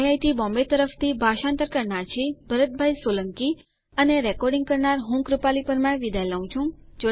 IIT Bombay તરફથી ભાષાંતર કરનાર હું ભરત સોલંકી વિદાય લઉં છું